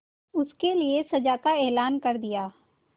उसके लिए सजा का ऐलान कर दिया